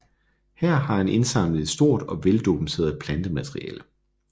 Her har han indsamlet et stort og veldokumenteret plantemateriale